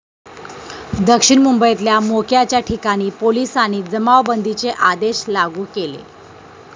दक्षिण मुंबईतल्या मोक्याच्या ठिकाणी पोलिसांनी जमावबंदीचे आदेश लागू केले.